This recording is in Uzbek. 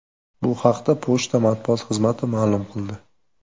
Bu haqda pochta matbuot xizmati ma’lum qildi .